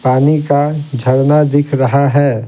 पानी का झरना दिख रहा है।